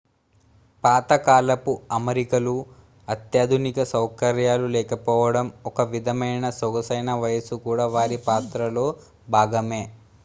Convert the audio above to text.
పాత కాలపు అమరికలు అత్యాధునిక సౌకర్యాలు లేకపోవడం ఒక విధమైన సొగసైన వయసు కూడా వారి పాత్రలో భాగమే